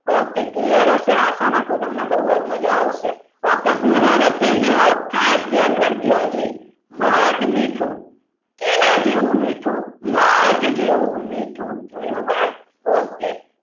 okay clear હશે? આશા રાખું તમને બહુ જ મજા આવશે okay પૂરું નથી થયું. ખાસ ધ્યાન રાખજો હજી મધ મીઠું કેના જેવું મીઠું મધ જેવું મીઠું જોયું ભાઈ okay